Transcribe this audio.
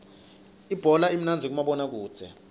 ibhola imnandzi kumabona kudze